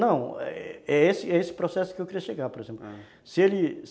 Não, é esse é esse processo que eu queria chegar, por exemplo. Se ele